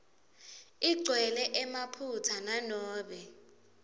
igcwele emaphutsa nanobe